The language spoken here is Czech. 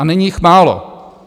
A není jich málo.